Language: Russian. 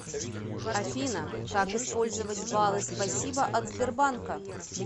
афина как использовать балы спасибо от сбербанка